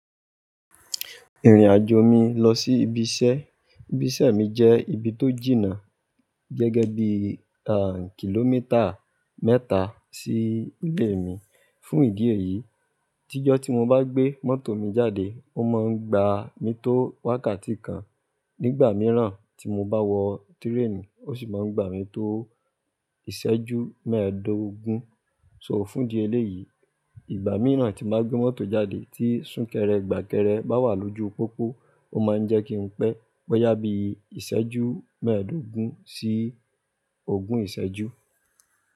Ìrìnàjò mi lọ sí ibi iṣẹ́. Ibi iṣẹ́ mi jẹ́ ibi tó jìnnà gẹ́gẹ́ bí kìlómítà mẹ́ta sí ilé mi. Fún ìdí èyí, tíjọ́ tí mo bá gbé mọ́tò mi jáde, ó máa ń gba mi tó wákàtí kan. Nígbà mìíràn tí mo bá wọ train, ó sì máa ń gba mi tó ìṣẹ́jú mẹ́ẹ̀dógún. So fún ìdí eléyìí, ìgbà mìíràn tí n bá gbé mọ́tò jáde tí súnkẹrẹ gbàkẹrẹ bá wà lójú pópó ó máa ń jẹ́ kí n pẹ́. Boyà bí ìṣẹ́jú mẹ́ẹ̀dógún sí ogún ìṣẹ́jú.